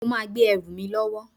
Mo máa gbé ẹrù mi lọ́wọ́